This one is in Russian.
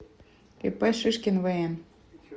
ип шишкин вн